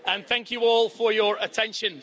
Thank you all for your attention.